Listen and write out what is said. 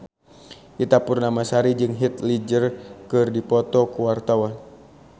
Ita Purnamasari jeung Heath Ledger keur dipoto ku wartawan